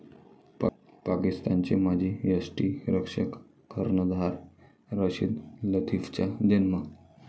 पाकिस्तानचे माजी यष्टिरक्षक, कर्णधार रशीद लतिफचा जन्म.